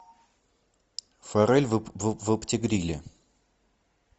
форель в опти гриле